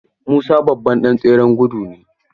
Musa babban ɗan tseren gudu ne.